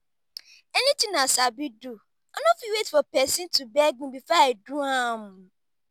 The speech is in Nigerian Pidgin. anything i sabi do i no fit wait for pesin to beg me before i do am.